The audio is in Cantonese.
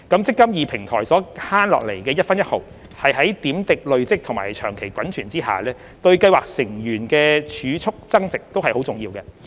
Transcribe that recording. "積金易"平台所減省下來的一分一毫在點滴累積及長期滾存下，對計劃成員的儲蓄增值均非常重要。